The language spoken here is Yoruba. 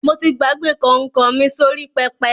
Mo ti gbàgbé kọ̀nkọ̀ mi sórí pẹpẹ.